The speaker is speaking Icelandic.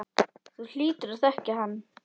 Þú hlýtur að þekkja hann.